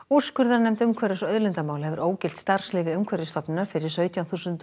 úrskurðarnefnd umhverfis og auðlindamála hefur ógilt starfsleyfi Umhverfisstofnunar fyrir sautján þúsund